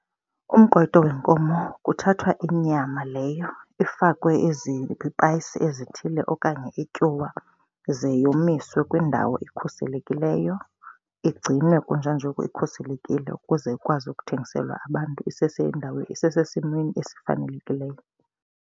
Umqwayito wenkomo kuthathwa inyama leyo ifakwe izipayisi ezithile okanye ityuwa ze yomiswe kwindawo ekhuselekileyo. Igcinwe kunjanjoku ikhuselekile ukuze akwazi ukuthengiselwa abantu isesendaweni, isesimeni esifanelekileyo.